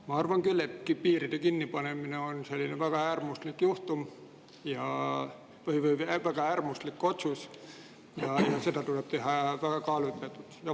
Ma arvan küll, et piiride kinnipanemine on väga äärmuslik otsus, seda tuleb teha väga kaalutletult.